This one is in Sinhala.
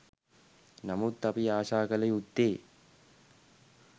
නමුත් අපි ආශා කළ යුත්තේ